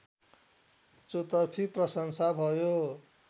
चौतर्फी प्रशंसा भयो